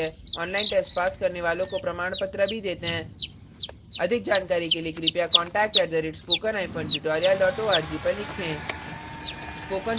online test pass करने वालों को प्रमाणपत्र भी details हैं अधिक जानकारी के लिए contact @spoken hyphen tutorial dot org पर लिखें